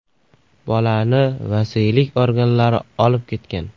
Bolani vasiylik organlari olib ketgan.